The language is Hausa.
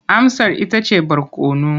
Amsar ita ce barkono.